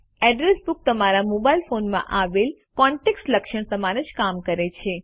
address book તમારા mobile ફોનમાં આવેલ કોન્ટેક્ટ્સ લક્ષણ સમાન જ કામ કરે છે